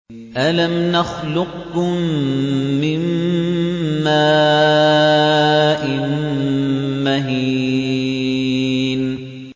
أَلَمْ نَخْلُقكُّم مِّن مَّاءٍ مَّهِينٍ